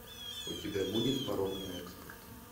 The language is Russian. у тебя будет порок на экспорт